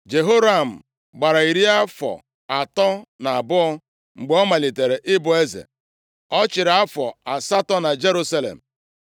Jehoram gbara iri afọ atọ na abụọ mgbe ọ malitere ịbụ eze. Ọ chịrị afọ asatọ na Jerusalem.